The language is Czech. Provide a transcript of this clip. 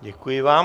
Děkuji vám.